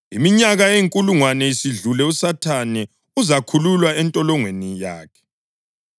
Iminyaka eyinkulungwane isidlule uSathane uzakhululwa entolongweni yakhe